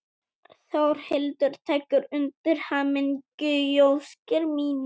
Þórhildur tekur undir hamingjuóskir mínar.